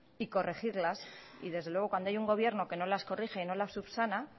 y corregirlas y desde luego cuando hay un gobierno que no las corrige y no las subsana